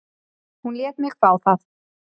Hún lét mig fá það.